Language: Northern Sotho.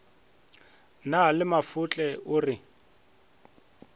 na le mafotle o re